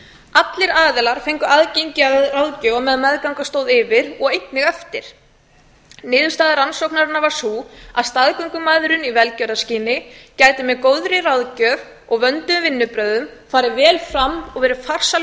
allir aðilar fengu aðgengi að ráðgjöf og meðan meðganga stóð yfir og einnig ættir niðurstaða rannsóknarinnar var sú að staðgöngumæðrun í velgjörðarskyni gæti með góðri ráðgjöf og vönduðum vinnubrögðum farið vel fram og verið farsæl lausn